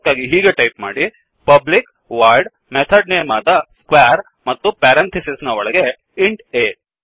ಅದಕ್ಕಾಗಿ ಹೀಗೆ ಟಾಯಿಪ್ ಮಾಡಿ ಪಬ್ಲಿಕ್ voidಪಬ್ಲಿಕ್ ವೈಡ್ ಮೆಥಡ್ ನೇಮ್ ಆದ squareಸ್ಕ್ವೇರ್ ಮತ್ತು ಪೆರಂಥಿಸಿಸ್ ನ ಒಲಗಡೆ ಇಂಟ್ ಆ